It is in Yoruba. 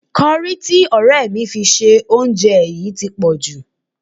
Kọrí tí ọ̀rẹ́ mi fi sí oúnjẹ yìí ti pọ̀jù